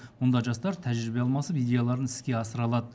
мұнда жастар тәжірибе алмасып идеяларын іске асыра алады